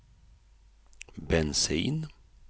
bensin